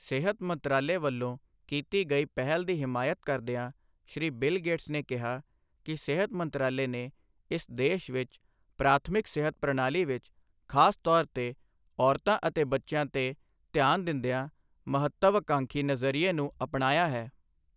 ਸਿਹਤ ਮੰਤਰਾਲੇ ਵੱਲੋਂ ਕੀਤੀ ਗਈ ਪਹਿਲ ਦੀ ਹਮਾਇਤ ਕਰਦਿਆਂ ਸ਼੍ਰੀ ਬਿਲ ਗੇਟਸ ਨੇ ਕਿਹਾ ਕਿ ਸਿਹਤ ਮੰਤਰਾਲੇ ਨੇ ਇਸ ਦੇਸ਼ ਵਿੱਚ ਪ੍ਰਾਥਮਿਕ ਸਿਹਤ ਪ੍ਰਣਾਲੀ ਵਿੱਚ ਖਾਸ ਤੌਰ ਤੇ ਔਰਤਾਂ ਅਤੇ ਬੱਚਿਆਂ ਤੇ ਧਿਆਨ ਦਿੰਦਿਆਂ ਮਹੱਤਵਅਕਾਂਖੀ ਨਜ਼ਰੀਏ ਨੂੰ ਅਪਣਾਇਆ ਹੈ।